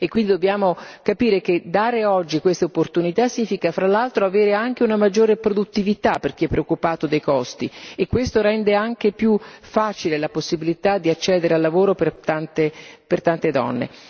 E quindi dobbiamo capire che dare oggi queste opportunità significa, fra l'altro, avere anche una maggiore produttività per chi è preoccupato dei costi e questo rende anche più facile la possibilità di accedere al lavoro per tante donne.